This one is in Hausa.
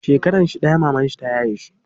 Shekaranshi ɗaya mamanshi ta yaye shi.